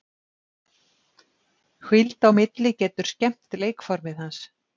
Hvíld á milli getur skemmt leikformið hans.